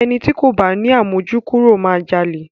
Ẹni ti kò bá ni àmójúkúrò máa jalè.